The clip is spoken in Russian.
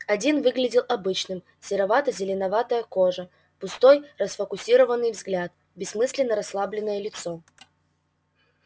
один выглядел обычным серовато-зеленоватая кожа пустой расфокусированный взгляд бессмысленно-расслабленное лицо